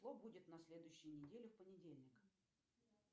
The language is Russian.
что будет на следующей неделе в понедельник